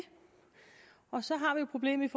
og så har vi jo problemet